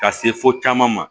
Ka se fo caman ma